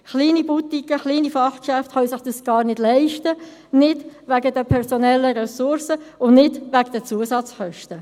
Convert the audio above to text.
Kleine Boutiquen, kleine Fachgeschäfte können sich dies gar nicht leisten – wegen der personellen Ressourcen und wegen der Zusatzkosten.